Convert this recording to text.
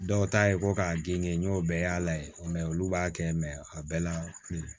Dɔw ta ye ko k'a genge n y'o bɛɛ y'a la olu b'a kɛ a bɛɛ la kelen